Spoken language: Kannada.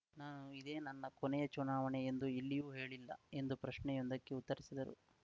ನಾನು ಇದೇ ನನ್ನ ಕೊನೆಯ ಚುನಾವಣೆ ಎಂದು ಎಲ್ಲಿಯೂ ಹೇಳಿಲ್ಲ ಎಂದು ಪ್ರಶ್ನೆಯೊಂದಕ್ಕೆ ಉತ್ತರಿಸಿದರು